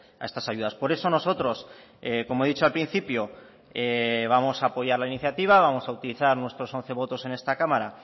a estas ayudas por eso nosotros como he dicho al principio vamos a apoyar la iniciativa vamos a utilizar nuestros once votos en esta cámara